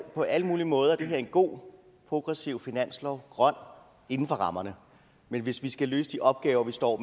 på alle mulige måder er det her en god progressiv finanslov grøn inden for rammerne men hvis vi skal løse de opgaver vi står